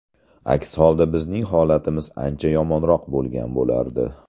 Aks holda bizning holatimiz ancha yomonroq bo‘lgan bo‘lardi.